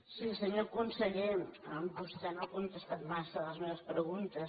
sí senyor conseller vostè no ha contestat massa les meves preguntes